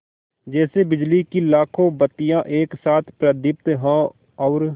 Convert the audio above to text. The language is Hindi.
जैसे बिजली की लाखों बत्तियाँ एक साथ प्रदीप्त हों और